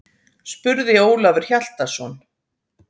spurði Ólafur Hjaltason.